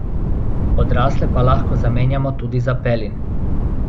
Odrasle pa lahko zamenjamo tudi za pelin.